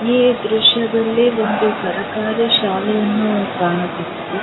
ಈ ದ್ರಷ್ಯದಲ್ಲಿ ಒಂದು ಸರಕಾರಿ ಶಾಲೆಯನ್ನು ಕಾಣಬಹುದು.